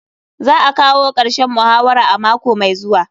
Za a kawo karshen muhawara a mako mai zuwa.